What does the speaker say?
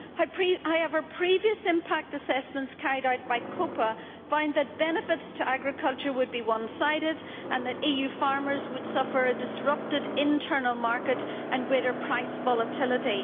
However, previous impact assessments carried out by Copa find that benefits to agriculture would be one sided and that EU farmers would suffer a disrupted internal market and greater price volatility.